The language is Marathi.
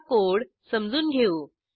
आता कोड समजून घेऊ